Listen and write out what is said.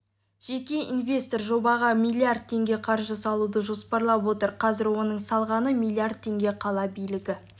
жеке инвестор жобаға миллииардтеңге қаржы салуды жоспарлап отыр қазір оның салғаны миллииард теңге қала билігі